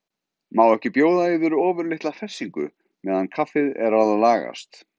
Má ekki bjóða yður ofurlitla hressingu meðan kaffið er að lagast?